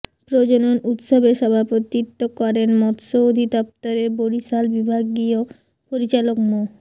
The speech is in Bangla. প্রজনন উৎসবে সভাপতিত্ব করেন মৎস্য অধিদপ্তরের বরিশাল বিভাগীয় পরিচালক মো